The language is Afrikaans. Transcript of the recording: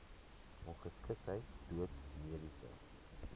ongeskiktheid dood mediese